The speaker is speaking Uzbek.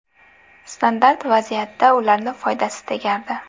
Standart vaziyatda ularni foydasi tegardi.